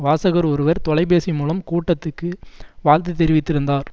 வாசகர் ஒருவர் தொலை பேசி மூலம் கூட்டத்துக்கு வாழ்த்து தெரிவித்திருந்தார்